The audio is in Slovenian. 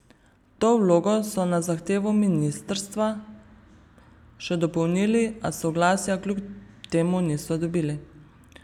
To vlogo so na zahtevo ministrstva še dopolnili, a soglasja kljub temu niso dobili.